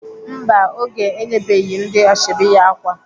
Mba, Oge enyebeghị ndị ashọbị ya ákwà.